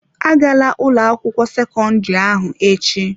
Agala ụlọ akwụkwọ sekọndrị ahụ echi!